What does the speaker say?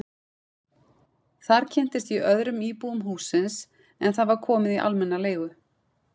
Þar kynntist ég öðrum íbúum hússins en það var komið í almenna leigu.